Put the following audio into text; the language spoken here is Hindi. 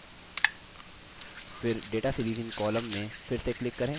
फिर data series in column में फिर से click करें